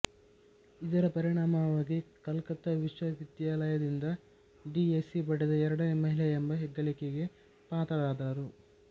ಇದರ ಪರಿಣಾಮವಾಗಿ ಕಲ್ಕತ್ತಾ ವಿಶ್ವವಿದ್ಯಾಲಯದಿಂದ ಡಿ ಎಸ್ಸಿ ಪಡೆದ ಎರಡನೇ ಮಹಿಳೆ ಎಂಬ ಹೆಗ್ಗಳಿಕೆಗೆ ಪಾತ್ರರಾದರು